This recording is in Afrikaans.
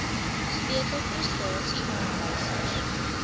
sleutel prestasie aanwysers